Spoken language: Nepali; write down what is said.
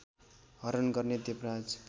हरण गर्ने देवराज